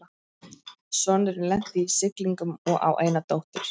Sonurinn lenti í siglingum og á eina dóttur